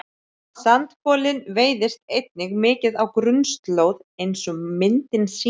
sandkolinn veiðist einnig mikið á grunnslóð eins og myndin sýnir